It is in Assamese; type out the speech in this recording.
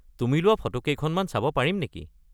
তুমি লোৱা ফটো কেইখনমান চাব পাৰিম নেকি?